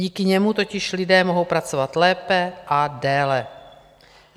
Díky němu totiž lidé mohou pracovat lépe a déle.